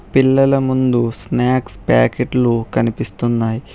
పిల్లల ముందు స్నాక్స్ ప్యాకెట్లు కనిపిస్తున్నాయ్.